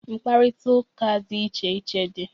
Mkparita ụka dị iche iche dị.